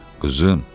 Qızım,